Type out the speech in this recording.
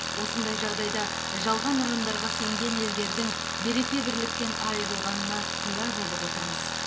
осындай жағдайда жалған ұрандарға сенген елдердің береке бірліктен айырылғанына куә болып отырмыз